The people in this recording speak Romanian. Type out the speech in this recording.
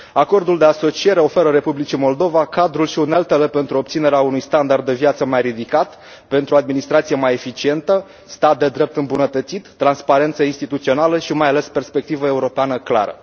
Acordul de asociere oferă Republicii Moldova cadrul și uneltele pentru obținerea unui standard de viață mai ridicat, pentru administrație mai eficientă, stat de drept îmbunătățit, transparență instituțională și mai ales perspectivă europeană clară.